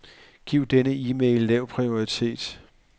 Giv denne e-mail lav prioritet.